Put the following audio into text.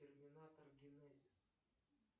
терминатор генезис